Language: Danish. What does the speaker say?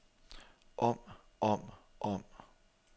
om om om